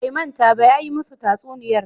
Bai manta ba, ya yi musu tatsuniyar